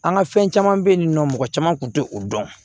An ka fɛn caman bɛ yen nin nɔ mɔgɔ caman tun tɛ o dɔn